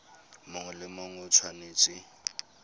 mongwe le mongwe o tshwanetse